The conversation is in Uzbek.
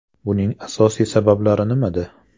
Buning asosiy sabablari nimada?